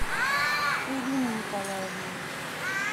элиной николаевной